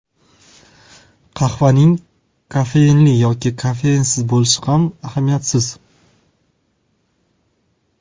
Qahvaning kofeinli yoki kofeinsiz bo‘lishi ham ahamiyatsiz.